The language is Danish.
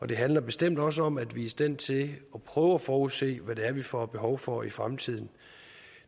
det handler bestemt også om at vi er i stand til at prøve at forudse hvad det er vi får behov for i fremtiden